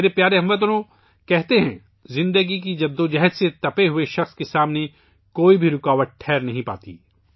میرے پیارے ہم وطنو، کہتے ہیں زندگی کی کشمکش سے تپے ہوئے شخص کے سامنے کوئی بھی رکاوٹ ٹک نہیں سکتی